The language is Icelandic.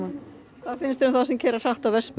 hvað finnst þér um þá sem keyra hratt á vespum